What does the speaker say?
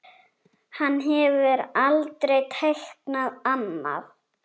Hann hefur aldrei teiknað annað.